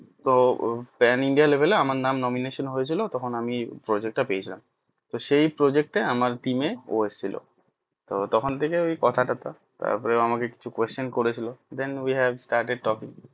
তো pan india label এ আমার নাম nomination হয়ে ছিল তখন আমি project টা পেয়ে ছিলাম তো সেই project এ আমার team এ ও এসছিল তো তখন থেকে কথা টথা তার পর আমাকে কিছু question করে ছিল then we have stared a talking